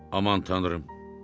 Aman tanrım.